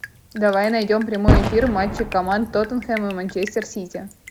давай найдем прямой эфир матча команд тоттенхэм и манчестер сити